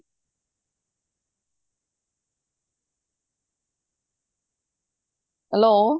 hello